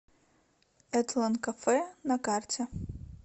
этлон кафе на карте